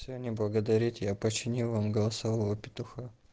все не благодарите я починил вам голосового петуха